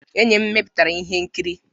Enyi m mepụtara ihe nkiri.